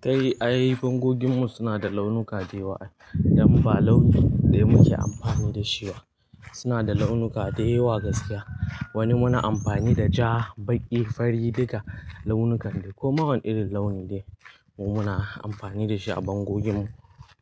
Kai, ai bangoginmu suna da launuka da yawa. Dan ba launi ɗaya muke amfani da shi ba. Suna da launuka da yawa gaskiya. Wani muna amfani da ja, baƙi, fari duka launukan dai ko ma wani irin launi daya mu muna amfani da shi a bangoginmu.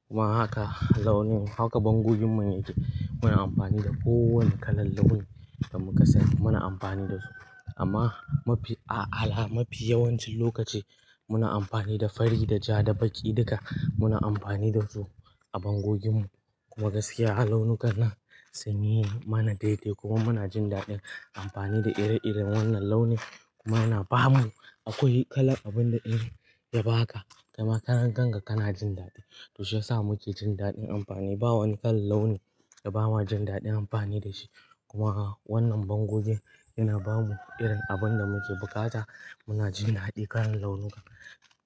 Kuma haka launin, haka bangoginmu ne yake. Muna amfani da kowane kalar launi da muka sani muna amfani da su. Amma mafi, a'ala mafi yawancin lokaci muna amfani da fari, da ja, da baƙi duka muna amfani da su a bangoginmu. Kuma gaskiya launukan nan sun yi mana dai-dai kuma muna jin daɗin amfani da ire-iren wannan launi kuma yana ba mu, akwai kalar abun da iri ya baka kai ma karan kanka kana jin daɗi. To shiyasa muke jin daɗin amfani. Ba wani kalar launi da bamu jin daɗin amfani da shi kuma wannan bangogin yana ba mu irin abin da muke buƙata. Muna jin daɗi kalar launuka.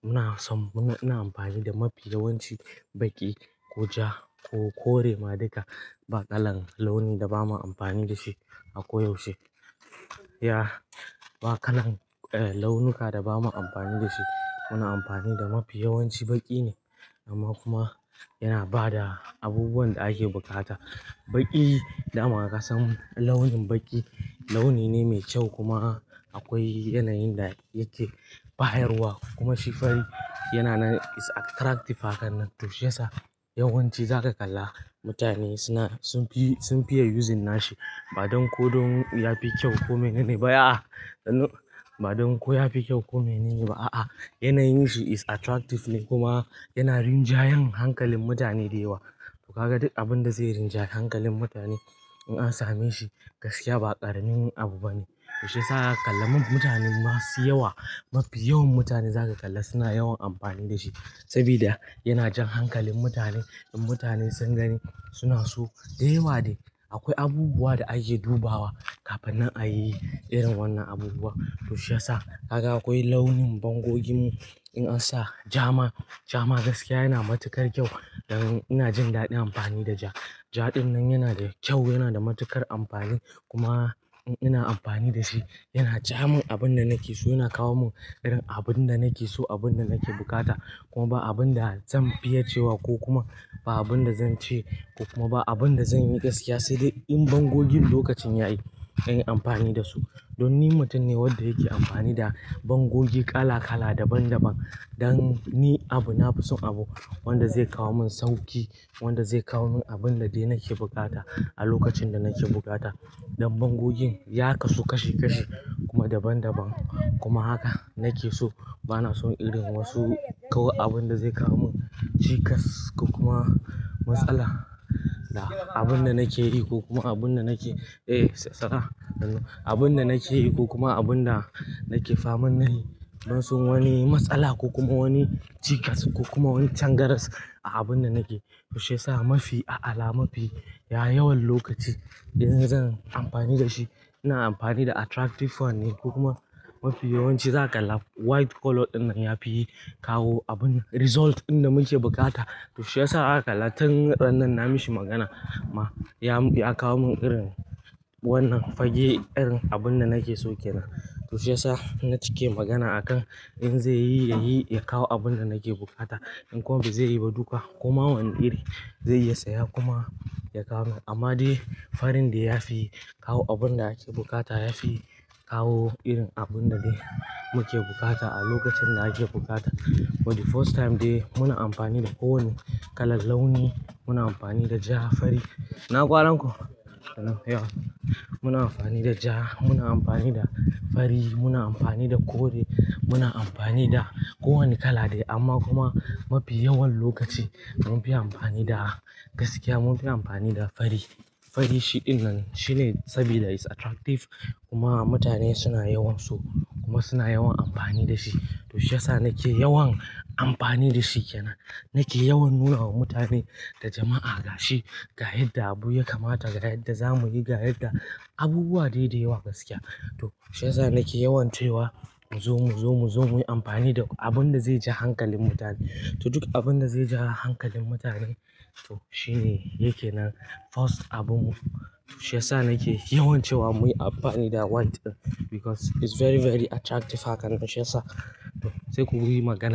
Muna son, muna, ina amfani da mafi yawanci baƙi, ko ja, ko kore ma duka ba kalar launi da bamu amfani da shi akwai yaushe. Ya, ba kalan, eh launuka da bamu amfani da shi. Muna amfani da mafi yawanci baƙi ne amma kuma yana ba da abubuwan da ake buƙata. Baƙi dama kasan launin baƙi launine me kyau, kuma akwai yanayin da yake bayarwa kuma shi fari yana nan it's attractive haka nan. To shiyasa yawanci zaka kalla mutane suna, sun fi, sun fiye yuzin nashi ba don ko don ya fi kyau ko menene ba a'a. Kuma, ba dan ko yafi kyau ba ko menene ba yanayin sa its attractive kuma yana rinjayar hankalin mutane da yawa. To kaga duk abin da zai rinjayi hankalin mutane in an same shi gaskiya ba ƙaranin abu bane. Toshe sa a ƙalla mutane masu yawa, mafi yawan mutane zaka kalla suna yawan amfani da shi sabida yana jan hankalin mutane. In mutane sun gani suna so da yawa dai. Akwai abubuwa da ake dubawa kafin nan ayi irin wannan abubuwa. To shiyasa kaga akwai launin bangoginmu in an sa ja ma, ja ma gaskiya yana matuƙar kyau. Dan ina jin daɗin amfani da ja. Ja ɗin nan yana da kyau, yana da matuƙar amfani kuma in ina amfani da shi yana ja min abin da nake so. Yana kawo min irin abin da nake so, abin da nake buƙata kuma ba abin da zan fiye cewa ko kuma ba abin da zan ce kuma ba abin da zan yi gaskiya sai dai in bangogin lokacin yayi in yi amfani da su. Don ni mutum ne wanda yake amfani da bangogi kala-kala, daban daban don ni abu, na fi son abu wanda zai kawo min sauƙi, wanda zai kawo min abin da dai nake buƙata a lokacin da nake buƙata. Dan bangogin ya kasu kashi-kashi kuma daban-daban kuma haka nake so. Ba na son irin wasu kawo abin da zai kawo min cikas ko kuma matsala da abin da nake yi ko kuma abin da nake, eh sara. Dan abin da nake yi ko kuma abin da nake fa'amun na yi ban son wani matsala ko kuma wani cikas ko kuma wani cangarar a abun da nake. To shiyasa mafi, a ala mafi, ya yawan lokaci idan zan amfani da shi ina amfani da attractive one ne ko kuma mafi yawanci zaka kalla white color ɗin nan ya fi yi kawo abun result ɗin da muke buƙata. To shiyasa haka kalla tun rannan na mishi magana ma ya, ya kawo min irin wannan fage irin abun da nake so ke nan. To shiyasa na cike magana akan in zai yi ya yi, ya kawo abun da nake buƙata in kuwa ba zai yi ba duka koma wane iri zai iya saya kuma ya kawo min. Amma dai farin dai ya fi yi kawo abun da ake bukata. Ya fi kawo irin abinda nake buƙata a lokacin da ake buƙata for the first time de yin anfani da kowanne kalar launi, muna anfani da ja, fari ina kwanan ku? Yau muna amfani da ja, muna amfani da fari, muna amfani da kore, muna amfani da kowane kala dai amma kuma mafi yawan lokaci mun fi amfani da gaskiya mun fi amfani da fari. Fari shi ɗin nan shine sabida is attractive kuma mutane suna yawan so kuma suna yawan amfani da shi. To shiyasa nake yawan amfani da shi ke nan. Nake yawan nuna wa mutane da jama'a gashi, ga yadda abu ya kamata, ga yadda za mu yi, ga yadda abubuwa dai da yawa gaskiya. To shiyasa nake yawan cewa mu zo, mu zo, mu zo muyi amfani da abun da zai ja hankalin mutane. To duk abun da zai ja hankalin mutane to shine yake nan first abunmu. To shiyasa nake yawan cewa muyi amfani da white ɗin because is very, very attractive haka. To shiyasa sai ku yi magana.